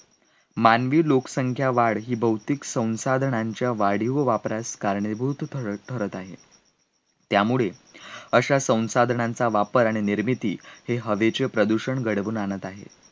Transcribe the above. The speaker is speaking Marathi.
मानवी लोकसंख्यावाढ ही भौतिक संसाधनांच्या वाढी व वापरास कारणीभूत ठरठरत आहे, त्यामुळे अशा संसाधनांचा वापर आणि निर्मिती आहे हवेचे प्रदूषण घडवून आणत आहे